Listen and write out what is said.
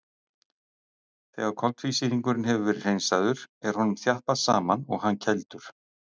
Þegar koltvísýringurinn hefur verið hreinsaður er honum þjappað saman og hann kældur.